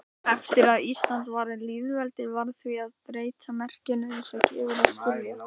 Frumglæði ljóssins, en gjörvöll mannkind meinvill í myrkrunum lá.